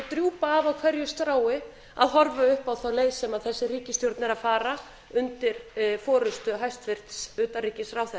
drjúpa af á hverju strái að horfa upp á þá leið sem þessi ríkisstjórn er að fara undir forustu hæstvirts utanríkisráðherra